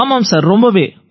ஆமாம் சார் ரொம்பவே